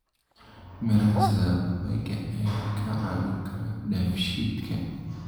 Miraha sida babayga ayaa kaa caawin kara dheefshiidka.